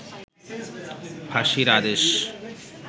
ফাঁসির আদেশ